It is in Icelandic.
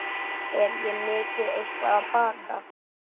Er ég mikið eitthvað að baka?